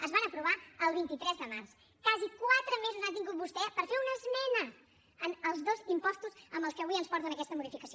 es van aprovar el vint tres de març quasi quatre mesos ha tingut vostè per fer una esmena en els dos impostos amb els que avui ens porten aquesta modificació